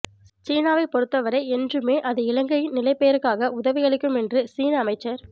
சீனாவை பொறுத்தவரை என்றுமே அது இலங்கையின் நிலைப்பேறுக்காக உதவியளிக்கும் என்று சீன அமைச்சர்